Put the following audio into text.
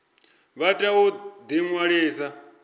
vha tea u ḓi ṅwalisa